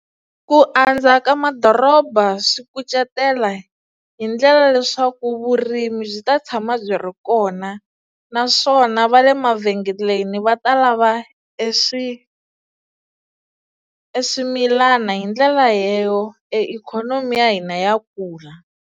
Ku andza ka madoroba swi kucetela hi ndlela ya leswaku vurimi byi ta tshama byi ri kona naswona va le mavhengeleni va ta lava e swi, e swimilana hi ndlela leyo e ikhonomi ya hina ya kula.